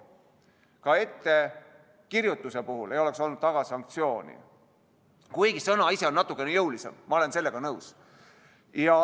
Ka ettekirjutusel ei oleks olnud taga sanktsiooni, kuigi sõna ise on natukene jõulisem, ma olen sellega nõus.